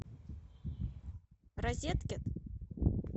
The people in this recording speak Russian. розеткет